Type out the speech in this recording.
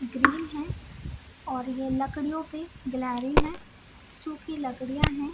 Green है और ये लकड़ियों पे गिलहरी है सुखी लकड़ियां है ।